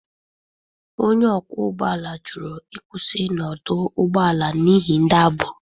Onye ọkwọ ụgbọ ala jụrụ ịkwụsị n'ọdụ ụgbọ ala n'ihi ndi agboro